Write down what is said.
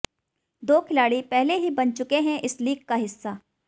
दो खिलाड़ी पहले ही बन चुके हैं इस लीग का हिस्सा